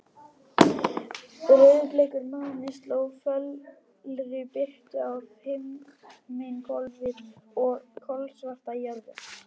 Rauðbleikur máni sló fölri birtu á himinhvolfið og kolsvarta jörðina.